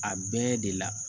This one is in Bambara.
A bɛɛ de la